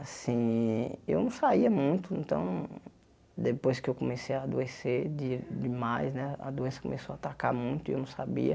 Assim, eu não saía muito, então depois que eu comecei a adoecer de demais, a doença começou a atacar muito e eu não sabia.